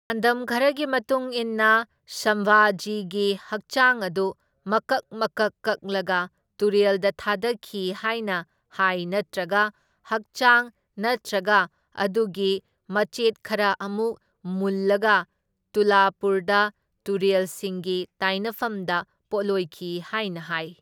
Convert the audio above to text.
ꯄꯥꯎꯗꯝ ꯈꯔꯒꯤ ꯃꯇꯨꯡ ꯏꯟꯅ ꯁꯝꯚꯥꯖꯤꯒꯤ ꯍꯛꯆꯥꯡ ꯑꯗꯨ ꯃꯀꯛ ꯃꯀꯛ ꯀꯛꯂꯒ ꯇꯨꯔꯦꯜꯗ ꯊꯥꯗꯈꯤ ꯍꯥꯏꯅ ꯍꯥꯏ ꯅꯠꯇ꯭ꯔꯒ ꯍꯥꯛꯆꯥꯡ ꯅꯠꯇ꯭ꯔꯒ ꯑꯗꯨꯒꯤ ꯃꯆꯦꯠ ꯈꯔ ꯑꯃꯨꯛ ꯃꯨꯜꯂꯒ ꯇꯨꯂꯥꯄꯨꯔꯗ ꯇꯨꯔꯦꯜꯁꯤꯡꯒꯤ ꯇꯥꯏꯅꯐꯝꯗ ꯄꯣꯠꯂꯣꯏꯈꯤ ꯍꯥꯏꯅ ꯍꯥꯏ꯫